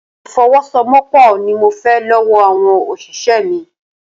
Ìfọwọ́sowọ́pọ̀ ni mo fẹ́ lọ́wọ́ àwọn òṣìṣẹ́ mi.